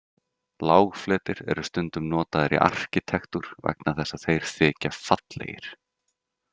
Lágfletir eru stundum notaðir í arkitektúr vegna þess að þeir þykja fallegir.